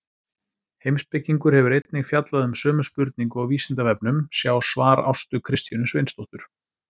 Heimspekingur hefur einnig fjallað um sömu spurningu á Vísindavefnum, sjá svar Ástu Kristjönu Sveinsdóttur.